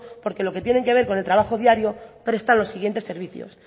porque lo que tiene que ver con el trabajo diario presta los siguientes servicios